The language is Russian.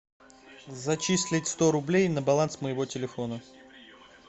зачислить сто рублей на баланс моего телефона